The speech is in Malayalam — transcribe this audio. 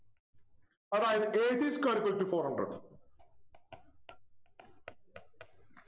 അതായത് a c square is equal to four hundred